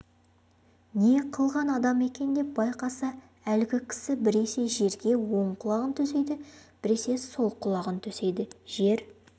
не қылған адам екен деп байқаса әлгі кісі біресе жерге оң құлағын төсейді біресе сол құлағын төсейді жер